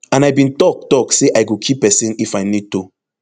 and i bin tok tok say i go kill pesin if i need to